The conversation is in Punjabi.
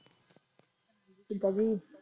ਕਿਦਾਂ ਜੀ